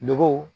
Nogo